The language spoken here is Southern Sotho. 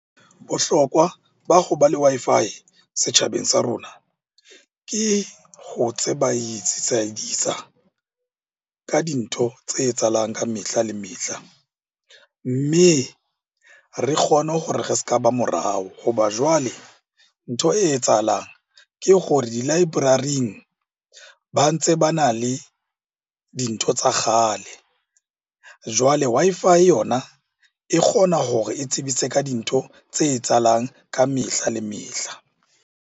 Bohlokwa ba ho ba le Wi-Fi setjhabeng sa rona ke ho ka dintho tse etsahalang ka mehla le mehla. Mme re kgone gore re s'ka ba morao ho ba jwale ntho e etsahalang ke gore di-library-ing ba ntse bana le dintho tsa kgale. Jwale Wi-Fi yona e kgona hore e tsebise ka dintho tse etsahalang ka mehla le mehla.